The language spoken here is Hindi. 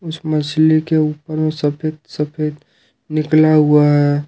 इस मछली के ऊपर में सफेद सफेद निकला हुआ है।